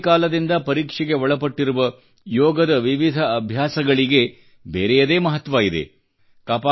ಅನಾದಿ ಕಾಲದಿಂದ ಪರೀಕ್ಷೆಗೆ ಒಳಪಟ್ಟಿರುವ ಯೋಗದ ವಿವಿಧ ಅಭ್ಯಾಸಗಳಿಗೆ ಬೇರೆಯದೇ ಮಹತ್ವ ಇದೆ